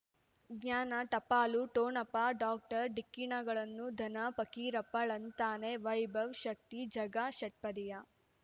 ಜ್ಞಾನ ಟಪಾಲು ಠೊಣಪ ಡಾಕ್ಟರ್ ಢಿಕ್ಕಿ ಣಗಳನು ಧನ ಫಕೀರಪ್ಪ ಳಂತಾನೆ ವೈಭವ್ ಶಕ್ತಿ ಝಗಾ ಷಟ್ಪದಿಯ